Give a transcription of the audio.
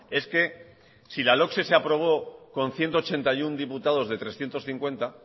es que si la logse se aprobó con ciento ochenta y uno diputados de trescientos cincuenta